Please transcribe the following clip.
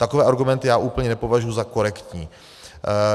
Takové argumenty já úplně nepovažuji za korektní.